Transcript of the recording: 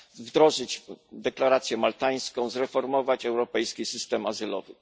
wdrożyć deklarację maltańską i zreformować europejski system azylowy.